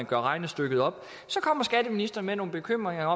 gør regnestykket op så kommer skatteministeren med nogle bekymringer